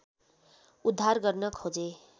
उद्धार गर्न खोजे